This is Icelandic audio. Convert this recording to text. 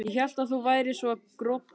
Ég hélt að þú værir svo grobbinn.